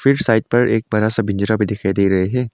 फिर साइड पर एक बड़ा सा पिंजरा भी दिखाई दे रहे है।